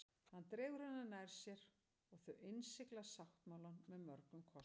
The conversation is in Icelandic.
Hann dregur hana nær sér og þau innsigla sáttmálann með mörgum kossum.